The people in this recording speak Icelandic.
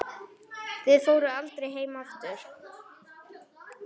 Þið fóruð aldrei heim aftur.